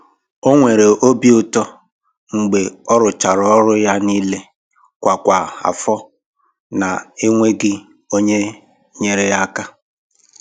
O nwere obi ụtọ mgbe ọ rụchara ọrụ ya niile kwa kwa afọ na enweghị onye nyere ya aka.